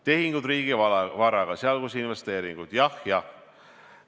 Tehingud riigivaraga, sh investeeringud: jah, jah.